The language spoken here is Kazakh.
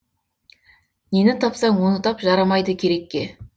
нені тапсаң оны тап жарамайды керекке